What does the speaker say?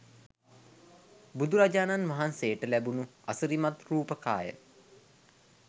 බුදුරජාණන් වහන්සේට ලැබුණු අසිරිමත් රූප කාය,